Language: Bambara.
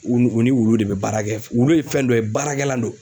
U ni u ni wulu de bɛ baara kɛ wulu ye fɛn dɔ ye baarakɛlan don